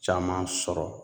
Caman sɔrɔ